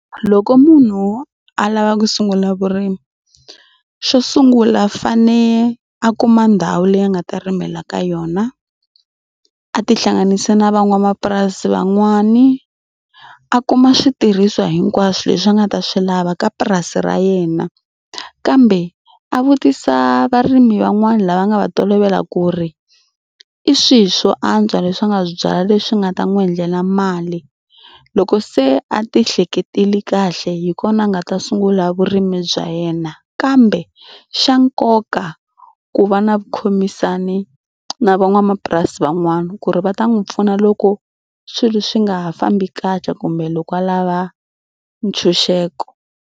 Loko munhu a lava ku sungula vurimi xo sungula fane a kuma ndhawu leyi a nga ta rimela ka yona. A tihlanganisa na van'wamapurasi van'wani a kuma switirhisiwa hinkwaswo leswi a nga ta swi lava ka purasi ra yena kambe a vutisa varimi van'wani lava nga va tolovela ku ri i swihi swo antswa leswi a nga swi byala leswi nga ta n'wi endlela mali. Loko se a tihleketile kahle hi kona a nga ta sungula vurimi bya yena kambe xa nkoka ku va na vu khomisana na van'wamapurasi van'wani ku ri va ta n'wi pfuna loko swilo swi nga ha fambi kahle kumbe loko a lava ntshunxeko.